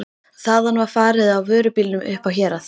Þaðan var farið á vörubílum upp á Hérað.